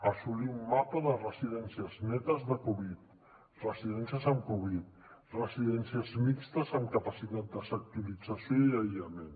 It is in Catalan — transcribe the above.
assolir un mapa de residències netes de covid residències amb covid residències mixtes amb capacitat de sectorització i aïllament